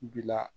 Bila